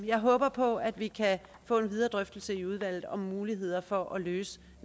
jeg håber på at vi kan få en videre drøftelse i udvalget om muligheder for at løse